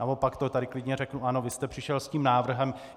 Naopak to tady klidně řeknu: Ano, vy jste přišel s tím návrhem.